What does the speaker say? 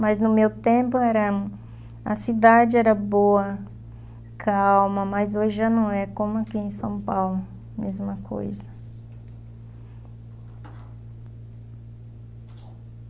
Mas no meu tempo era a cidade era boa, calma, mas hoje já não é como aqui em São Paulo, mesma coisa.